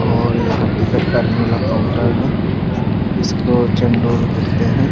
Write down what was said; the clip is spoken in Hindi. और यहाँ टिकट काटने वाला काउंटर है इसको चंडोल कहते हैं।